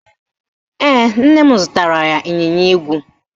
Ee, nne m zụtara ya ịnyịnya ígwè